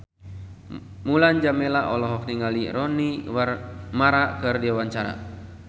Mulan Jameela olohok ningali Rooney Mara keur diwawancara